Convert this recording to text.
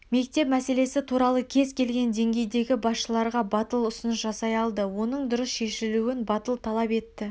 мектеп мәселесі туралы кез келген деңгейдегі басшыларға батыл ұсыныс жасай алды оның дұрыс шешілуін батыл талап етті